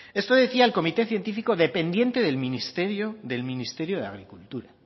esto decía el comité científico dependiente del ministerio de agricultura